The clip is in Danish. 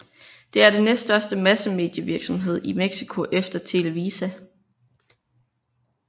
Det er det næststørste massemedievirksomhed i Mexico efter Televisa